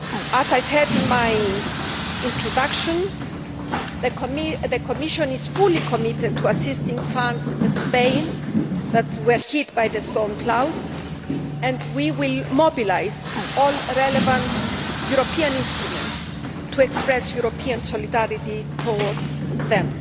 As I said in my introduction, the Commission is fully committed to assisting France and Spain, which were hit by winter storm Klaus, and will mobilise all relevant European instruments to express European solidarity towards them.